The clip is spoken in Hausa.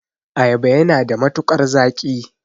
Ayaba yana da matukar zaƙi.